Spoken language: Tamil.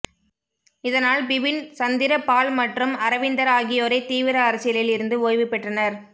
இதனால் பிபின் சந்திர பால் மற்றும் அரவிந்தர் ஆகியோரை தீவிர அரசியலில் இருந்து ஓய்வு பெற்றனர்